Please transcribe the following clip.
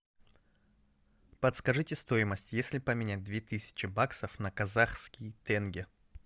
подскажите стоимость если поменять две тысячи баксов на казахский тенге